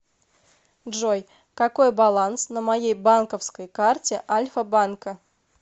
джой какой баланс на моей банковской карте альфа банка